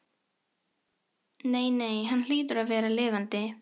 Nei, nei, hann hlýtur að vera lifandi.